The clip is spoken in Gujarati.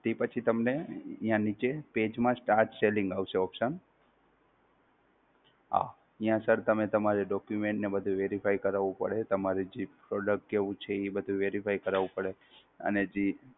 ઈ પછી તમને ન્યાં નીચે, page માં Start selling આવશે option. હા, ન્યાં Sir તમે તમારે Document ને બધુ Verify કરાવું પડે તમારે જે Product કેવું છે એ બધુ Verify કરાવું પડે, અને જે